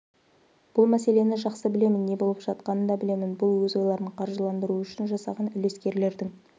бұл мәселені жақсы білемін не болып жатқанын да білемін бұл өз ойларын қаржыландыру үшін жасаған үлескерлердің